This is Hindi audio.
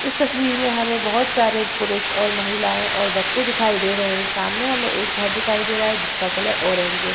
इस तस्वीर मे हमे बहुत सारे पुरुष और महिलाए और बच्चे दिखाई दे रहे है सामने हमे एक घर दिखाई दे रहा है जिसका कलर ऑरेंज है।